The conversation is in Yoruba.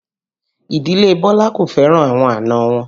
Ìdílé Bọlá kò fẹ́ràn àwọn àna wọn